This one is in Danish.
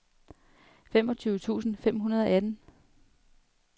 femogtyve tusind fem hundrede og atten